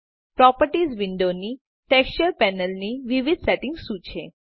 properties વિન્ડોની texture panel ની વિવિધ સેટિંગ્સ શું છે